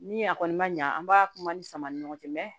Ni a kɔni ma ɲa an b'a kuma ni sama ni ɲɔgɔn cɛ